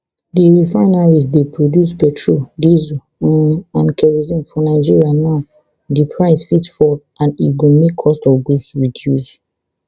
di refineries dey produce petrol diesel um and kerosene for nigeria now di price fit fall and e go make cost of goods reduce